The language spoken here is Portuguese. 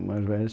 O mais velho é